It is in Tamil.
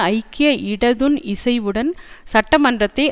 ஐக்கிய இடதுன் இசைவுடன் சட்ட மன்றத்தை